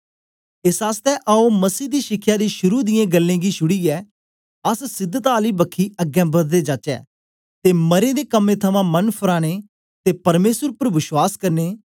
एस आसतै आओ मसीह दी शिखया दी शुरू दियें गल्लें गी छुड़ीयै अस सिधता आली बखी अगें बददे जाचै ते मरें दे कम्में थमां मन फराने ते परमेसर उपर विश्वास करने